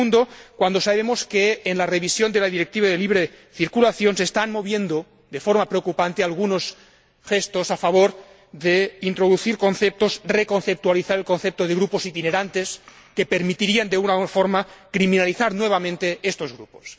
Pero, segundo, cuando sabemos que en la revisión de la Directiva de libre circulación se están moviendo, de forma preocupante, algunos gestos a favor de introducir conceptos, de reconceptualizar el concepto de grupos itinerantes, que permitirían de alguna forma criminalizar nuevamente a estos grupos.